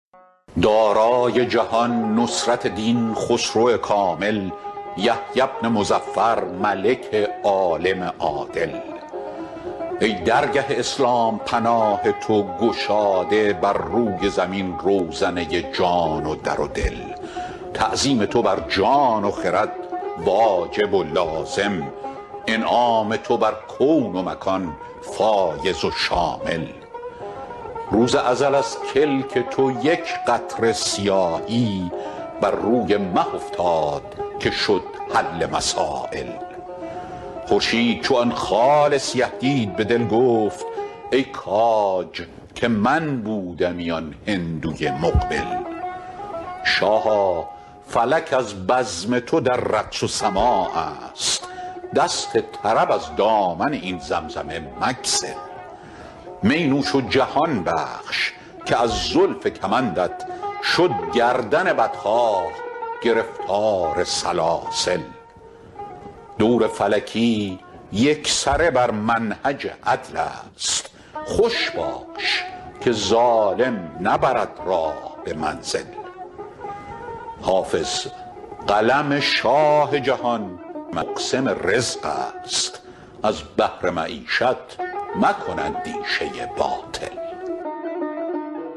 دارای جهان نصرت دین خسرو کامل یحیی بن مظفر ملک عالم عادل ای درگه اسلام پناه تو گشاده بر روی زمین روزنه جان و در دل تعظیم تو بر جان و خرد واجب و لازم انعام تو بر کون و مکان فایض و شامل روز ازل از کلک تو یک قطره سیاهی بر روی مه افتاد که شد حل مسایل خورشید چو آن خال سیه دید به دل گفت ای کاج که من بودمی آن هندوی مقبل شاها فلک از بزم تو در رقص و سماع است دست طرب از دامن این زمزمه مگسل می نوش و جهان بخش که از زلف کمندت شد گردن بدخواه گرفتار سلاسل دور فلکی یکسره بر منهج عدل است خوش باش که ظالم نبرد راه به منزل حافظ قلم شاه جهان مقسم رزق است از بهر معیشت مکن اندیشه باطل